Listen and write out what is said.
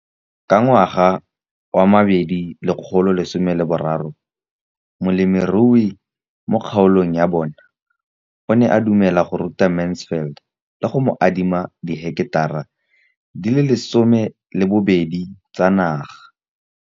Ka ngwaga wa 2013, molemirui mo kgaolong ya bona o ne a dumela go ruta Mansfield le go mo adima di heketara di le 12 tsa naga.